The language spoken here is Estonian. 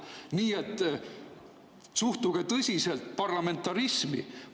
Nii et suhtuge tõsiselt parlamentarismi!